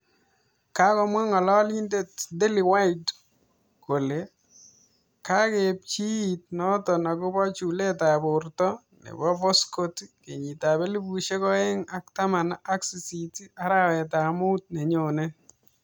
Kakomwaa ngalalindeet Dylan white kolee Kakepwatchii Nato akopoo chulet ap portoo nepo Voskot kenyit ap elfusiek oeng ak taman ak sisit arawet ap muut nenyonee